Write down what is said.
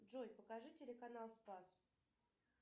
джой покажи телеканал спас